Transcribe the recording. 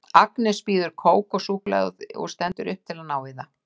Agnes býður kók og súkkulaði og stendur upp til að ná í það.